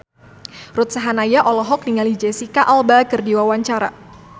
Ruth Sahanaya olohok ningali Jesicca Alba keur diwawancara